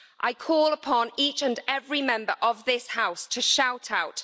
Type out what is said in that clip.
I call upon each and every Member of this House to shout out.